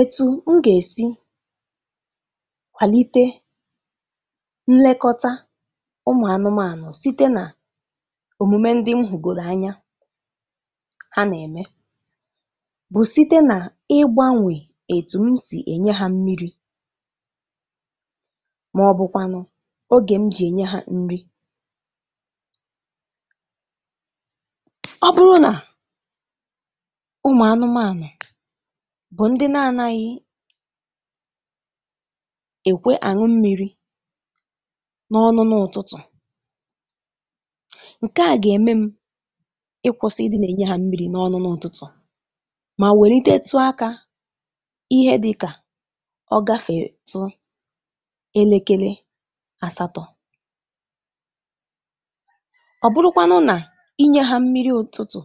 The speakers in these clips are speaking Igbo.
Etu m ga-esi kwalite nlekọta ụmụ anụmanụ site na omume ndị m hugoro anya ha na-eme bụ site na ịgbanwe otu m si enye ha mmiri maọbụkwanụ oge m ji enye ha nri. Ọ bụrụ na ụmụ anụmanụ bụ ndị na-anaghị ekwe aṅụ mmiri n'ọ́nụ́nụ́ ụtụtụ, nke a ga-eme m ịkwụsị ị dị na-enye ha mmiri n'ọnụnụ ụtụtụ ma welitetu aka ihe dị ka ọ gafetụ elekele asatọ. Ọ bụrụkwanụ na inye ha mmiri ụtụtụ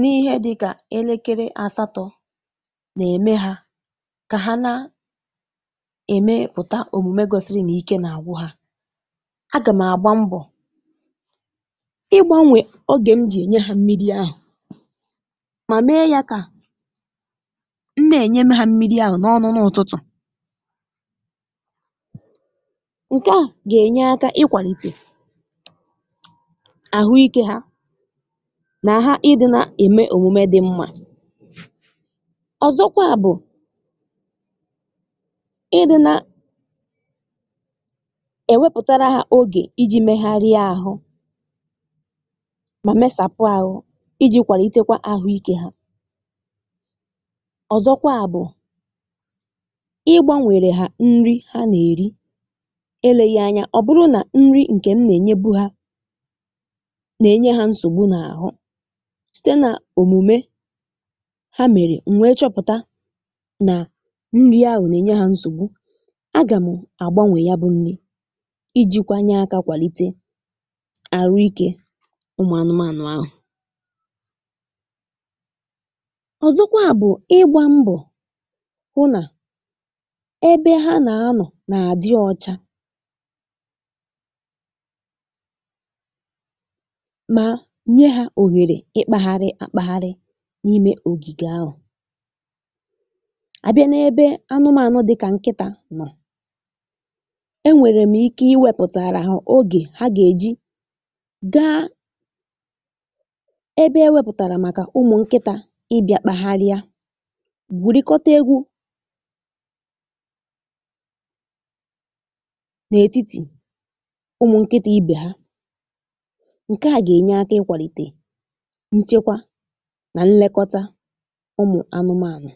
n'ihe dị ka elekele asatọ na-eme ha ka ha na emepụta omume gosiri na ike na-agwụ ha, a ga m agba mbọ ịgbanwe oge m ji enye ha mmiri ahụ ma mee ya ka m na-enyenụ ha mmiri ahụ n'ọ́nụ́nụ́ ụtụtụ tụ. Nke ahụ ga-enye aka ịkwalite ahụike ha na ha ị dịna eme omume dị mma. Ọzọkwa bụ Ị dịna e wepụtara ha oge iji megharịa ahụ ma mesapụ ahụ iji kwalitekwa ahụike ha. Ọzọkwa bụ Ị gbanwere ha nri ha na-eri eleghi anya ọ bụrụ na nri nke m na-enyebụ ha na-enye ha nsogbu n'arụ site na omume ha mere m wee chọpụta na nri ahụ na-enye ha nsogbu. A ga mụ agbanwe yabụ nri ijikwa nye aka kwalite ahụike ụmụ anụmanụ ahụ. Ọzọkwa bụ ịgba mbọ hụ na ebe ha na-anọ na-adị ọcha ma nye ha ohere ịkpagharị akpagharị n'ime ogige ahụ. A bịa n'ebe anụmanụ dị ka nkịta nọ, e nwere m ike iwepụ taara ha oge ha ga-eji gaa ebe e wepụtara maka ụmụ nkịta ị bịa kpagharịa, gwurikọt egwu n'etiti ụmụ nkịta ibe ha. Nke a ga-enye aka ịkwalite nchekwa na nlekọta ụmụ anụmanụ.